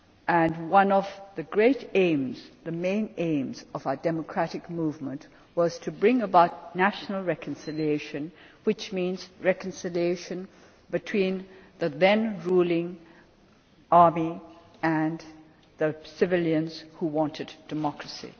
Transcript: And one of the great aims the main aims of our democratic movement was to bring about national reconciliation, which means reconciliation between the then ruling army and the civilians who wanted democracy.